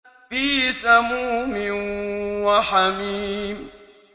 فِي سَمُومٍ وَحَمِيمٍ